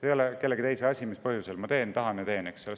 Ei ole kellegi teise asi, mis põhjusel ma teen, tahan ja teen.